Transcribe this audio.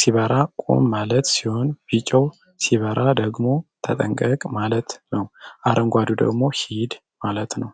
ሲበራ ቁም ማለት ሲሆን ቢጨዉ ሲበራ ደግሞ ተጠንቀቅ ማለት ነዉ አረንጓዴዉ ደግሞ ሂድ ማለት ነዉ።